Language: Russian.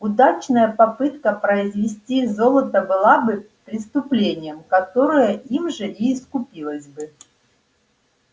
удачная попытка произвести золото была бы преступлением которое им же и искупилось бы